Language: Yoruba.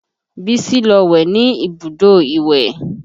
Bísí lọ wẹ̀ ní ibùdó ìwẹ̀